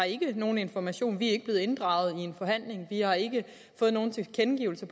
ikke har nogen information vi er ikke blevet inddraget i en forhandling vi har ikke fået nogen tilkendegivelser